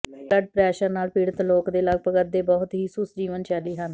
high blood pressure ਨਾਲ ਪੀੜਤ ਲੋਕ ਦੇ ਲਗਭਗ ਅੱਧੇ ਬਹੁਤ ਹੀ ਸੁਸ ਜੀਵਨ ਸ਼ੈਲੀ ਹਨ